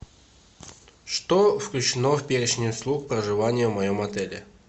что включено в перечень услуг проживания в моем отеле